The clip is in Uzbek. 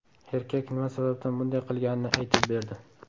Erkak nima sababdan bunday qilganini aytib berdi.